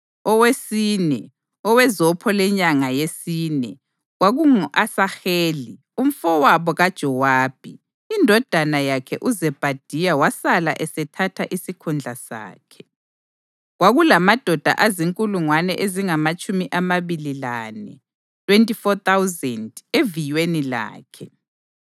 Owesine, owezopho lenyanga yesine, kwakungu-Asaheli umfowabo kaJowabi; indodana yakhe uZebhadiya wasala esethatha isikhundla sakhe. Kwakulamadoda azinkulungwane ezingamatshumi amabili lane (24,000) eviyweni lakhe.